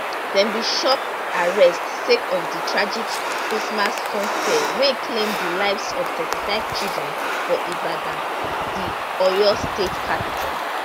dem bin chop arrest sake of di tragic christmas funfair wey claim di lives of thirty five children for ibadan di oyo state capital